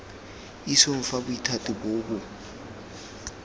isong fa bothati boo bo